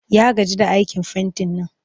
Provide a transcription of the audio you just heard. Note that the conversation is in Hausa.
Ya gaji da aikin fentin nan